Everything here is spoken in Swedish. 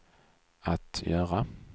att göra